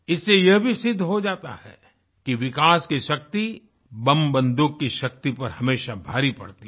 इससे यह भी सिद्ध हो जाता है कि विकास की शक्ति बमबंदूक की शक्ति पर हमेशा भारी पड़ती है